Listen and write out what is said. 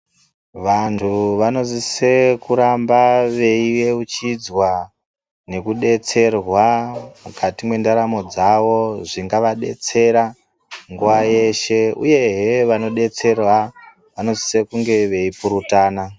Vantu vanosise kuramba veieuchidzwa nekudetserwa mukati mwendaramo dzawo zvingava detsera nguva yeshe ,uyezve vanoadetsera vanosisa kunge veipurutana.